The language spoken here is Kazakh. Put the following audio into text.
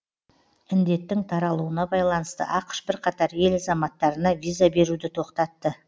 індеттің таралуына байланысты ақш бірқатар ел азаматтарына виза беруді тоқтатты